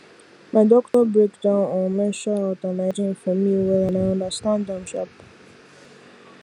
my doctor break down um menstrual health and hygiene for me well and i understand am sharp